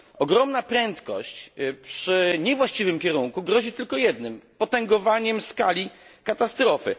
Ogromna prędkość przy niewłaściwym kierunku grozi tylko jednym potęgowaniem skali katastrofy.